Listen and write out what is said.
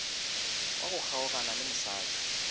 wa go kgaogana le mosadi